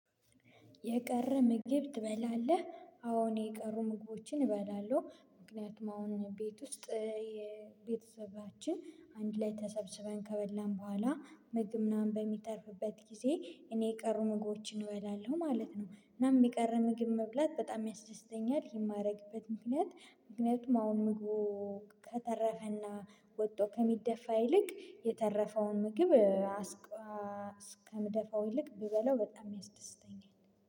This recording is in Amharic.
የቀረ ምግብ ትበላለህ? አዎ እኔ የቀሩ ምግቦችን እበላለሁ ምክንያቱም አሁን ቤት ውስጥ የቤተሰባችን አንድ ላይ ተሰብስበን ከበላን በኋላ ምግብ ምናምን በሚተርፍበት ጊዜ እኔ የቀሩ ምግቦችን እበላለሁ ማለት ነው። እናም የቀረ ምግብ መብላት በጣም ያስደስተኛል። ይህን ማደርግበት ምክንያት ምክንያቱም አሁን ምግቡ ከተረፈና ወጥቶ ከሚደፋ ይልቅ የተረፈውን ምግብ እስከምደፋው ይልቅ ብበላው በጣም ያስደስተኛል።